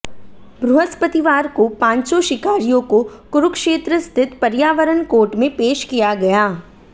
बृहस्पतिवार को पांचों शिकारियों को कुरुक्षेत्र स्थित पर्यावरण कोर्ट में पेश किया गया